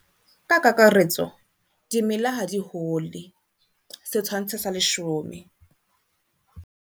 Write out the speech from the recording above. Ka kakaretso dimela ha di hole setshwantsho sa 10.